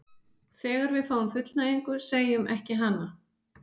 þegar við fáum fullnægingu, segjum ekki hana!